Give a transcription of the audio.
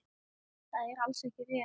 Það er alls ekki rétt.